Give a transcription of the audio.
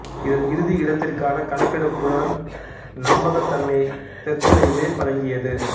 இதன் இறுதி இடத்திற்கான கணக்கெடுப்புடன் நம்பகத்தன்மையை தெற்கு இரயில்வே வழங்கியது